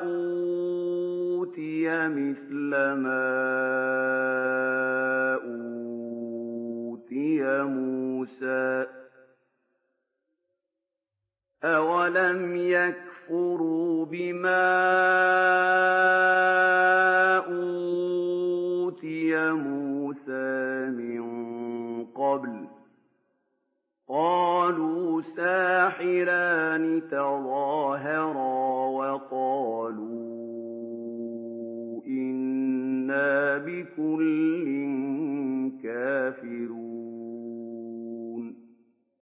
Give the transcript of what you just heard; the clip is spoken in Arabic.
أُوتِيَ مِثْلَ مَا أُوتِيَ مُوسَىٰ ۚ أَوَلَمْ يَكْفُرُوا بِمَا أُوتِيَ مُوسَىٰ مِن قَبْلُ ۖ قَالُوا سِحْرَانِ تَظَاهَرَا وَقَالُوا إِنَّا بِكُلٍّ كَافِرُونَ